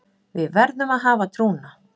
Við verðum að hafa trúna